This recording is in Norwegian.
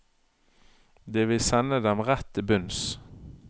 Det vil sende dem rett til bunns.